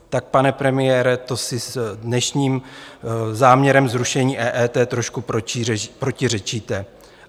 Tak pane premiére, to si s dnešním záměrem zrušení EET trošku protiřečíte.